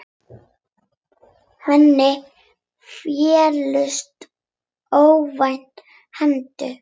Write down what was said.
Henni féllust óvænt hendur.